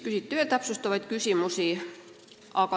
Küsiti muidki täpsustavaid küsimusi.